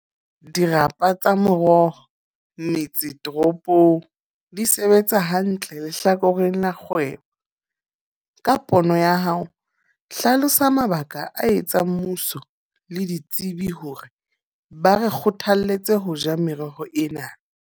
Dirapa tsa moroho, metse toropong. Di sebetsa hantle lehlakoreng la kgwebo. Ka pono ya hao hlalosa mabaka a etsang mmuso le ditsebi hore ba re kgothalletse ho ja meroho ena.